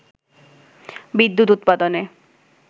বিদ্যুৎ উৎপাদনে